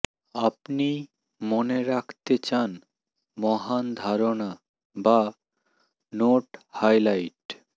আপনি মনে রাখতে চান মহান ধারনা বা নোট হাইলাইট